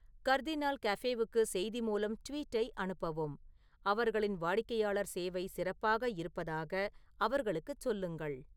கர்தினால் கஃபேவுக்கு செய்தி மூலம் ட்வீட்டை அனுப்பவும் அவர்களின் வாடிக்கையாளர் சேவை சிறப்பாக இருப்பதாக அவர்களுக்குச் சொல்லுங்கள்